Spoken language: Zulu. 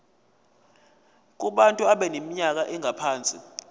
kubantu abaneminyaka engaphansi